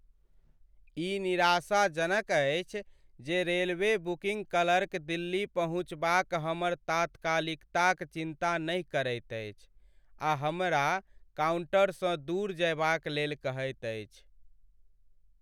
ई निराशाजनक अछि जे रेलवे बुकिङ्ग क्लर्क दिल्ली पहुँचबाक हमर तात्कालिकताक चिन्ता नहि करैत अछि आ हमरा काउन्टरसँ दूर जयबाक लेल कहैत अछि।